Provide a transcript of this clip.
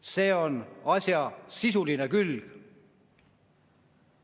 See on asja sisuline külg.